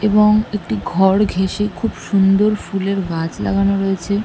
এবং একটি ঘর ঘেঁসে খুব সুন্দর ফুলের গাছ লাগানো রয়েছে।